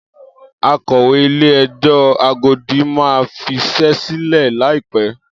Akọ̀wé Ilé-ẹjọ́ Agodi máa fiṣẹ́ sílẹ̀ láìpẹ́.